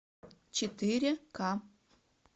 четыре ка